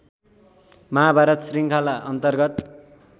महाभारत श्रृङ्खला अन्तर्गत